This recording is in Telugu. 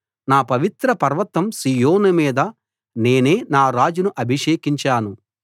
నా పవిత్ర పర్వతం సీయోను మీద నేనే నా రాజును అభిషేకించాను